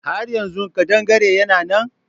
Har yanzu ƙadangare yana nan?